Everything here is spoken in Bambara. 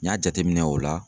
N y'a jateminɛ o la.